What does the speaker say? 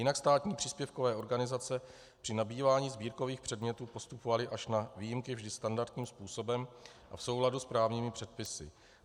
Jinak státní příspěvkové organizace při nabývání sbírkových předmětů postupovaly až na výjimky vždy standardním způsobem a v souladu s právními předpisy.